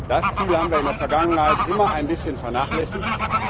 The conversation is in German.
Dieses Ziel haben wir in der Vergangenheit immer ein bisschen vernachlässigt.